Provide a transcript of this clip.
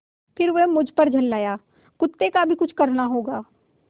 फिर वह मुझ पर झल्लाया कुत्ते का भी कुछ करना होगा